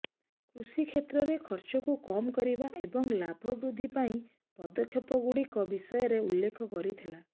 କୃଷି କ୍ଷେତ୍ରରେ ଖର୍ଚ୍ଚକୁ କମ କରିବା ଏବଂ ଲାଭ ବୃଦ୍ଧି ପାଇଁ ପଦକ୍ଷେପଗୁଡିକ ବିଷୟରେ ଉଲ୍ଲେଖ କରିଥିଲେ